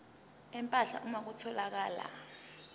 empahla uma kutholakala